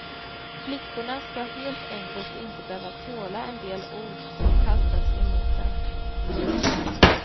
Flickorna ska helt enkelt inte behöva tåla en del ord som kastas emot dem.